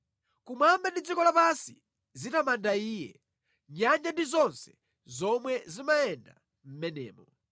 Kumwamba ndi dziko lapansi zitamanda Iye, nyanja ndi zonse zomwe zimayenda mʼmenemo,